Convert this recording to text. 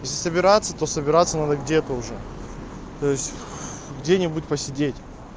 если собираться то собираться надо где-то уже то есть где-нибудь посидеть